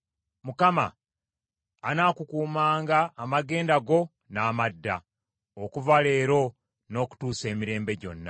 Mukama anaakukumanga amagenda go n’amadda, okuva leero n’okutuusa emirembe gyonna.